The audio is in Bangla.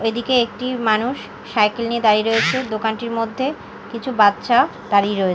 এদিকে একটি মানুষ সাইকেল নিয়ে দাঁড়িয়ে রয়েছে দোকানটির মধ্যে কিছু বাচ্চা দাঁড়িয়ে রয়ে--